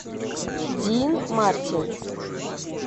дин мартин